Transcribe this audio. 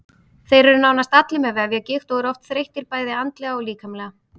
Þeir eru nánast allir með vefjagigt og eru oft þreyttir bæði andlega og líkamlega.